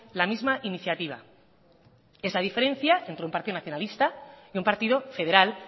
la misma iniciativa es la diferencia entre un partido nacionalista y un partido federal